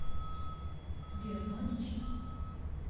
сбер аналогично